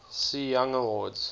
cy young awards